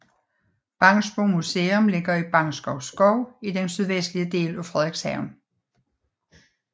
Bangsbo Museum ligger i Bangsbo Skov i den sydvestlige del af Frederikshavn